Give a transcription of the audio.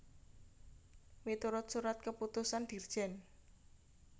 Miturut Surat Keputusan Dirjen